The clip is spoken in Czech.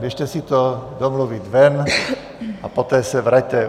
Běžte si to domluvit ven a poté se vraťte.